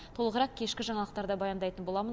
толығырақ кешкі жаңалықтарда баяндайтын боламын